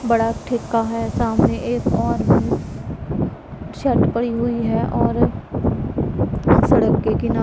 बड़ा ठीका है सामने एक और भी छत पड़ी हुईं हैं और सड़क के किनारे--